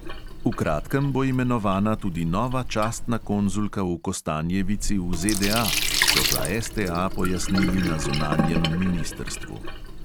V kratkem bo imenovana tudi nova častna konzulka v kostanjevici v ZDA, so za STA pojasnili na zunanjem ministrstvu.